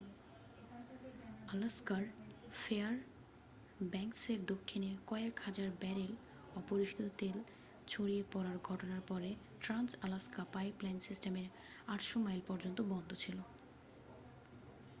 আলাস্কার ফেয়ারব্যাঙ্কসের দক্ষিণে কয়েক হাজার ব্যারেল অপরিশোধিত তেল ছড়িয়ে পড়ার ঘটনার পরে ট্রান্স-আলাস্কা পাইপলাইন সিস্টেমের 800 মাইল পর্যন্ত বন্ধ ছিল